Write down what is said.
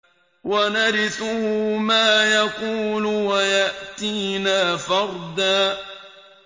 وَنَرِثُهُ مَا يَقُولُ وَيَأْتِينَا فَرْدًا